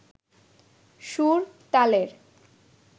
সুর, তালের